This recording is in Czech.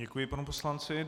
Děkuji panu poslanci.